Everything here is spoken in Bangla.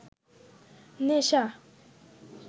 নেশা